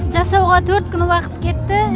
жасауға төрт күн уақыт кетті